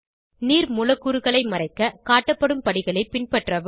நீர் மூலக்கூறுகளை மறைக்க காட்டப்படும் படிகளை பின்பற்றவும்